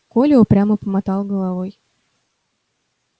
коля упрямо помотал головой